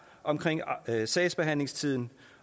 omkring sagsbehandlingstiden